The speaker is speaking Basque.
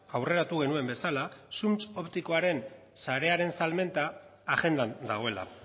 aurreratu genuen bezala zuntz optikoaren sarearen salmenta agendan dagoela